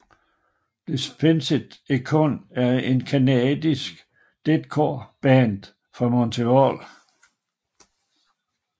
Despised Icon er et canadisk deathcore band fra Montreal